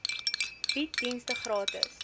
bied dienste gratis